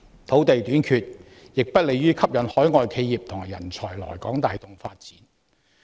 土地短缺亦不利於吸引海外企業及人才來港帶動發展。